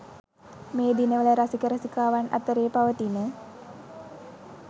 මේ දිනවල රසික රසිකාවන් අතරේ පවතින